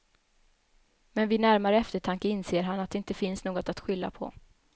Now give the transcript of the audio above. Men vid närmare eftertanke inser han det inte finns något att skylla på.